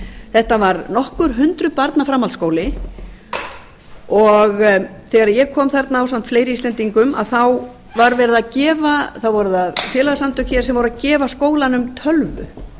þetta var nokkur hundruð barna framhaldsskóli og þegar ég kom þarna ásamt fleiri íslendingum voru það félagasamtökin sem voru að gefa skólanum tölvu